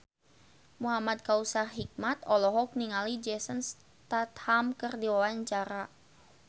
Muhamad Kautsar Hikmat olohok ningali Jason Statham keur diwawancara